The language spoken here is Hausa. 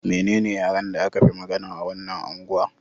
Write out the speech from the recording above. Menene yaren da aka fi magana a wannan angwa?